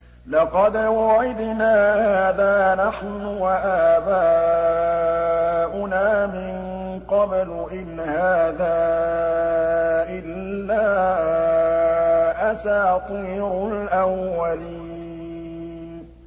لَقَدْ وُعِدْنَا هَٰذَا نَحْنُ وَآبَاؤُنَا مِن قَبْلُ إِنْ هَٰذَا إِلَّا أَسَاطِيرُ الْأَوَّلِينَ